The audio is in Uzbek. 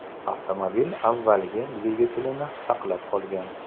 Avtomobil avvalgi dvigatelini saqlab qolgan.